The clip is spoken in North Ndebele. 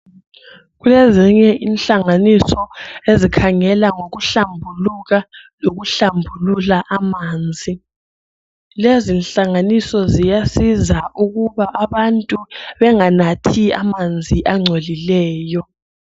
Kulezinye inhlanganiso ezikhangela ngikuhlambuluka lokuhlambulula amanzi. Lezi nhlanganiso ziyasisa ukuba abantu benganathi amanzi angcolileyo.